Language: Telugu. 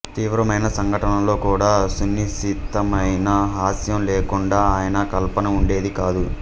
తీవ్రమైన సంఘటనల్లో కూడా సునిశితమైన హాస్యం లేకుండా ఆయన కల్పన ఉండేది కాదు